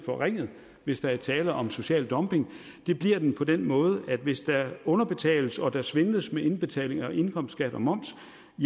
forringet hvis der er tale om social dumping det bliver den på den måde at hvis der underbetales og der svindles med indbetaling indkomstskat og moms